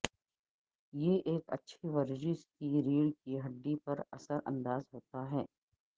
یہ ایک اچھی ورزش کی ریڑھ کی ہڈی پر اثر انداز ہوتا ہے